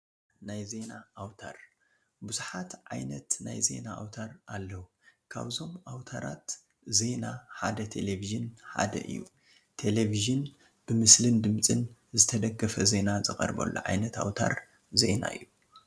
ናይ ዜና ኣውታር-ብዙሓት ዓይነት ናይ ዜና ኣውታር ኣለዉ፡፡ ካብዞም ኣውታራት ዜና ሓደ ቴለቪዥን ሓደ እዩ፡፡ ቴለቪዥን ብምስልን ድምፅን ዝተደገፈ ዜና ዝቐርበሉ ዓይነት ኣውታር ዜና እዩ፡፡